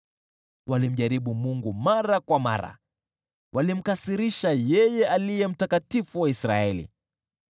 Walimjaribu Mungu mara kwa mara, wakamkasirisha yeye Aliye Mtakatifu wa Israeli.